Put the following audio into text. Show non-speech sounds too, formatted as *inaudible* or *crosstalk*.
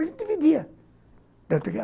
A gente dividia *unintelligible*